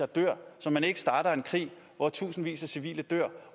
dør og så man ikke starter en krig hvor tusindvis af civile dør